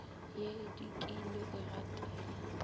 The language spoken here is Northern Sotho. ye e dikile e gatela